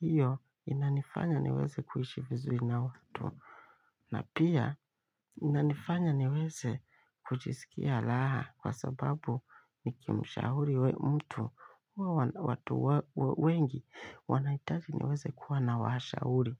Hiyo inanifanya niweze kuishi vizuri na watu. Na pia inanifanya niweze kujisikia raha kwa sababu nikimshauri we mtu, huwa watu wengi wanahitaji niweze kuwa na washauri.